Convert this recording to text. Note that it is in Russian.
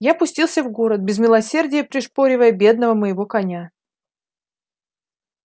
я пустился в город без милосердия пришпоривая бедного моего коня